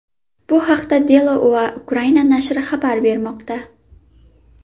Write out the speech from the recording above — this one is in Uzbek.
Bu haqda Delo.ua Ukraina nashri xabar bermoqda.